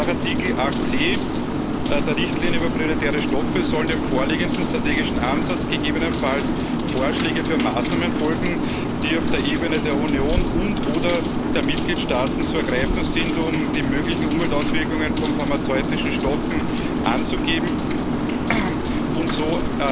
Nach Artikel 8c der Richtlinie über prioritäre Stoffe sollen dem vorliegenden strategischen Ansatz gegebenenfalls Vorschläge für Maßnahmen folgen, die auf der Ebene der Union und oder der Mitgliedstaaten zu ergreifen sind, um die möglichen Umweltauswirkungen von pharmazeutischen Stoffen anzugehen und so